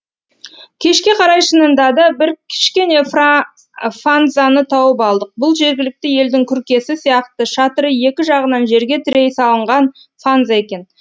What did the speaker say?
кешке қарай шынында да бір кішкене фанзаны тауып алдық бұл жергілікті елдің күркесі сияқты шатыры екі жағынан жерге тірей салынған фанза екен